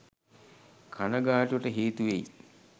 කණගාටුවට හේතුවෙයි.